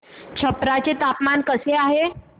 छप्रा चे हवामान कसे आहे